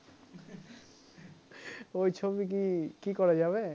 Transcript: ওই ছবি কি কি করা যাবে